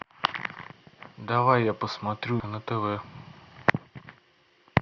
давай я посмотрю на тв